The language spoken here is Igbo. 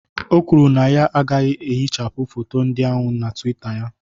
O kwuru na ya agaghị ehichapụ foto ndị ahụ na twitter ya